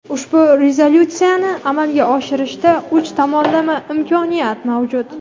ushbu rezolyutsiyani amalga oshirishda uch tomonlama imkoniyat mavjud.